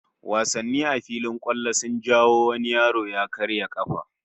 Wasanni a filin kwallo sun jawo wani yaro ya karya kafa